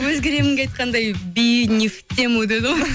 өзгеремінге айтқандай би не в тему деді ғой